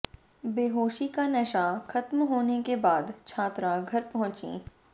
बेहोशी का नशा खत्म होने के बाद छात्रा घर पहुंची